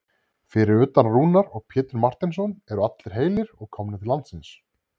Fyrir utan Rúnar og Pétur Marteinsson eru allir heilir og komnir til landsins?